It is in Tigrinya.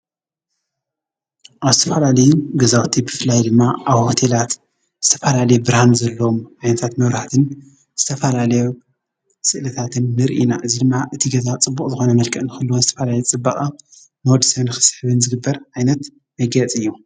ኣስትፋላሌ ገዛዊቲ ብፍላይ ድማ ኣብ ወቴላት ዝተፋላሌ ብራን ዘሎም ኣይንታት መውራሃትን ስተፋላሌ ሥእለታትን ምርኢና ዚልማ እቲ ገዛ ጽቡቕ ዝኾነ መልቀአን ኽሉ ኣትፋላይት ጽበቓ ኖድሴን ክሳሕብን ዝግበር ኣይነት መጌጺ እዩ።